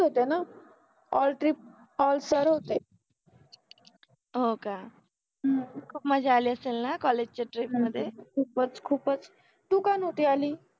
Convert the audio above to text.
होत न, all trip all sir होते, हो क, ह्म्म खुप मजा आलि असेल न कॉलेज च्य ट्रिप मधे, खुपच खुपच, तु का नवति आलि